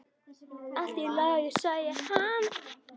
Allt í lagi, sagði hann.